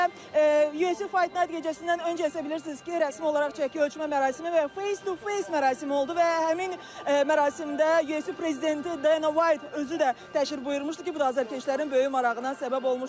Və UFC Fight Night gecəsindən öncə isə bilirsiniz ki, rəsmi olaraq çəki ölçmə mərasimi və face-to-face mərasimi oldu və həmin mərasimdə UFC prezidenti Dana White özü də təşrif buyurmuşdu ki, bu da azarkeşlərin böyük marağına səbəb olmuşdu.